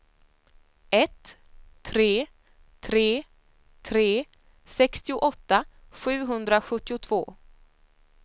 ett tre tre tre sextioåtta sjuhundrasjuttiotvå